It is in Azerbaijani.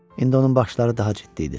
İndi onun baxışları daha ciddi idi.